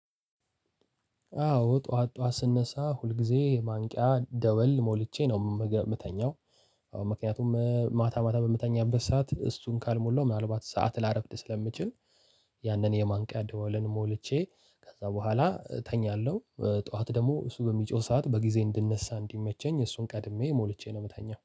አዎ ጠዋት ጠዋት ስነሳ ሁልጊዜ የማንቂያ ደወል ሞልቼ ነው የምተኛው። አዎ ምክንያቱም ማታ ማታ በምተኛበት ሰዓት እሱን ካልሞላው ምናልባት ሰዓት ላረፍድ ስለምችል ያንን የማንቂያ ደወልን ሞልቼ ከዛ በኋላ እተኛለሁ ጠዋት ደግሞ እሱ በሚጮህ ሰዓት በጊዜ እንድነሳ እንዲመቸኝ እሱን ቀድሜ ሞልቼ ነው ምተኛው